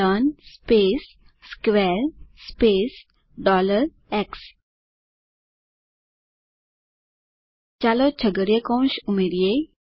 learn space square space x ચાલો છગડિયો કૌંસ ઉમેરીએ